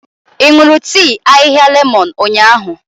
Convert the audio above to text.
Ị ṅụrụ tii ahịhịa lemon ụnyahụ?